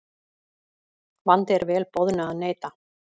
Vandi er vel boðnu að neita.